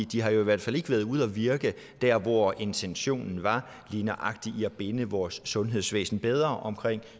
de har jo i hvert fald ikke været ude at virke der hvor intentionen var lige nøjagtig i at binde vores sundhedsvæsen bedre omkring